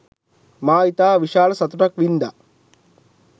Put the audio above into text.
මා ඉතා විශාල සතුටක් වින්දා